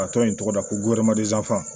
A tɔ ye tɔgɔ da ko f'an